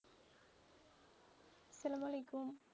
আসসালাম আলাইকুম.